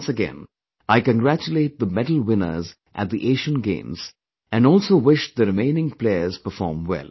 Once again, I congratulate the medal winners at the Asian Games and also wish the remaining players perform well